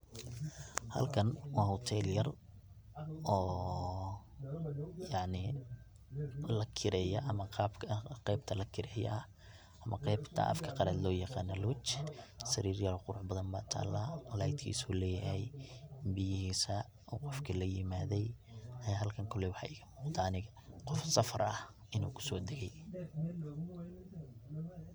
Halkan waa hotel yar oo yacni lakireeyo ama qaybta lakireeya ah ama qaybta afka qalad looyaqano lodge sarir yaal quruxbadan baa tala laytkiisu leeyahy biyahiisa oo qofki layimaday aya halkan kolay waxaa iga muqda aniga qof safar ah inu kusodagay.